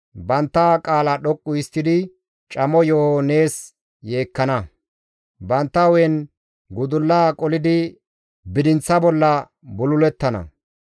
Bantta qaala dhoqqu histtidi camo yeeho nees yeekkana; bantta hu7en gudulla qolidi bidinththa bolla bululettana.